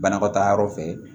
Banakɔtaa yɔrɔ fɛ